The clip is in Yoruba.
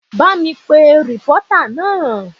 Ba mi pe rìpọ́tà náà!